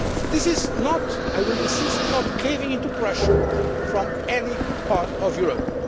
its aspects. This is not, I insist, about caving in to pressure from any part